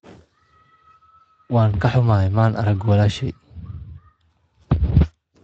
Waan ka xumahay, maan arag walaashay.